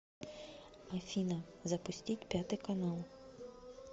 афина запустить пятый канал